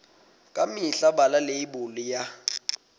ka mehla bala leibole ya